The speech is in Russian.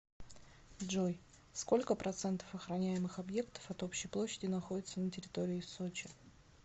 джой сколько процентов охраняемых объектов от общей площади находится на территории сочи